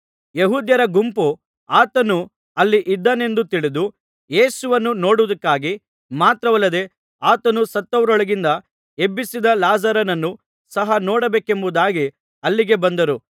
ಯೆಹೂದ್ಯರ ಗುಂಪು ಆತನು ಅಲ್ಲಿ ಇದ್ದಾನೆಂದು ತಿಳಿದು ಯೇಸುವನ್ನು ನೋಡುವುದಕ್ಕಾಗಿ ಮಾತ್ರವಲ್ಲದೆ ಆತನು ಸತ್ತವರೊಳಗಿಂದ ಎಬ್ಬಿಸಿದ ಲಾಜರನನ್ನೂ ಸಹ ನೋಡಬೇಕೆಂಬುದಾಗಿ ಅಲ್ಲಿಗೆ ಬಂದರು